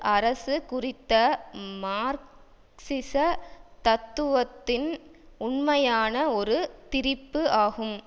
அரசு குறித்த மார்க்சிச தத்துவத்தின் உண்மையான ஒரு திரிப்பு ஆகும்